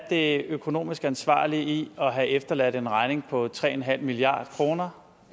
det økonomisk ansvarlige er i at have efterladt en regning på tre en halv milliard kroner